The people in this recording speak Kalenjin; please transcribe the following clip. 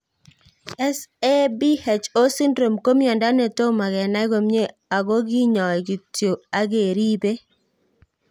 SAPHO syndrome ko miondo ne tomo kenai komie ako kinyoi kityo akeripei